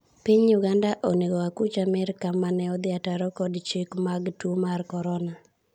piny Uganda onego akuch Piny Amerka mane odhi ataro kod chike mag tuo mar korona